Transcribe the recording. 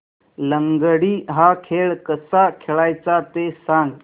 लंगडी हा खेळ कसा खेळाचा ते सांग